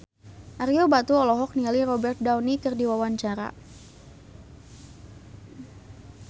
Ario Batu olohok ningali Robert Downey keur diwawancara